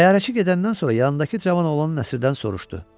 Təyyarəçi gedəndən sonra yanındakı Cavan oğlan Nəsirdən soruşdu: